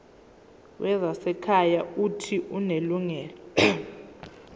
wezasekhaya uuthi unelungelo